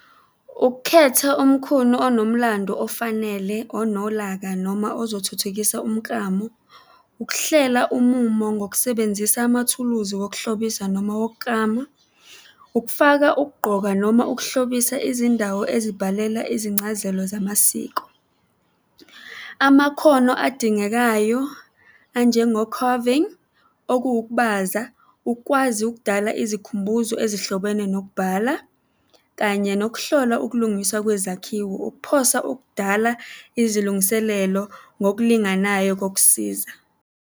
Ukukhetha umkhunu onomlando ofanele, onolaka noma ozothuthukisa umklamu. Ukuhlela umumo ngokusebenzisa amathuluzi wokuhlobisa noma wokuklama. Ukufaka ukugqoka noma ukuhlobisa izindawo ezibhalela izincazelo zamasiko. Amakhono adingekayo anjengo-carving, okuwukubaza, ukwazi ukudala izikhumbuzo ezihlobene nokubhala, kanye nokuhlola ukulungiswa kwezakhiwo. Ukuphosa okudala izilungiselelo ngokulinganayo kokusiza.